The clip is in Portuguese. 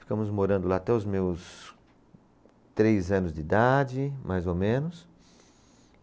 Ficamos morando lá até os meus três anos de idade, mais ou menos.